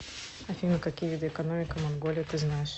афина какие виды экономика монголии ты знаешь